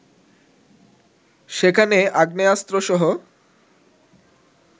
সেখানে আগ্নেয়াস্ত্রসহ